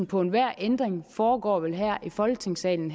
på enhver ændring foregår her i folketingssalen